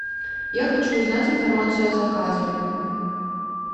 я хочу узнать информацию о заказе